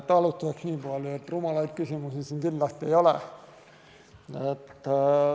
Alustan sellest, et rumalaid küsimusi siin kindlasti ei ole.